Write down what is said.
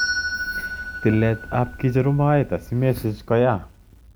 Tilet ap ke cheru moet asimesich koyaa.